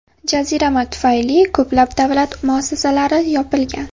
Jazirama tufayli ko‘plab davlat muassasalari yopilgan.